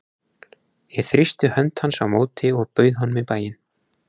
Ég þrýsti hönd hans á móti og bauð honum í bæinn.